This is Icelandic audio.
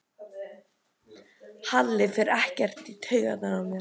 Halli fer ekkert í taugarnar á mér.